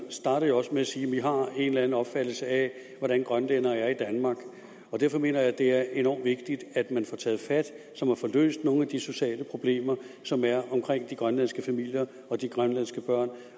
startede jo også med at sige at vi har en eller anden opfattelse af hvordan grønlænderne er i danmark derfor mener jeg at det er enormt vigtigt at man får taget fat så man får løst nogle af de sociale problemer som er omkring de grønlandske familier og de grønlandske børn